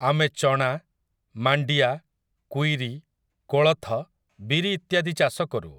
ଆମେ ଚଣା, ମାଣ୍ଡିଆ, କୁଇରି, କୋଳଥ, ବିରି ଇତ୍ୟାଦି ଚାଷକରୁ।